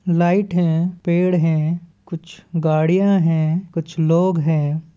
Light हैं पेड़ हैं कुछ गाड़ियां है कुछ लोग है।